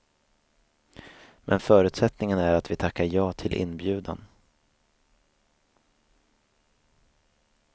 Men förutsättningen är att vi tackar ja till inbjudan.